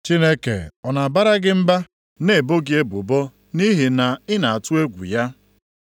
“Chineke ọ na-abara gị mba na-ebo gị ebubo nʼihi na ị na-atụ egwu ya?